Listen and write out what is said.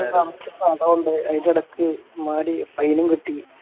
കളിച്ച ഫലവോണ്ടായി അതിൻ്റെ ഇടക്ക് മടി fine ഉം കിട്ടി